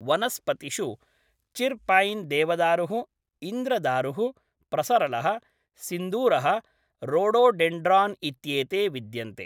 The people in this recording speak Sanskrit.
वनस्पतिषु चिर् पैन् देवदारुः, इन्द्रदारुः, प्रसरलः, सिन्दूरः, रोडोडेंड्रान् इत्येते विद्यन्ते।